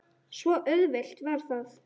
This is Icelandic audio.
Svo auðvelt var það.